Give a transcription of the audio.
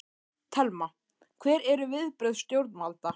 Telma: Hver eru viðbrögð stjórnvalda?